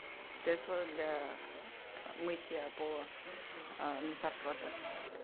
средство для мытья пола мистер проппер